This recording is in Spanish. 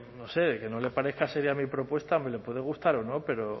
que no le parezca seria mi propuesta le puede gustar o no pero